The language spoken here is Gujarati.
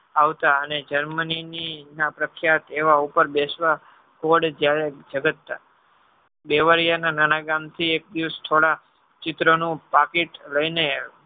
અને Germany ની પ્રખ્યાત એવા ઉપર બેસવા કોડે જયારે જગત ના બેવરિયા ના નાના ગામ થી એક પિસ થોડા ચિત્ર નો પાકીટ લઈ ને